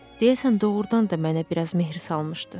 Deyəsən doğurdan da mənə biraz mehr salmışdı.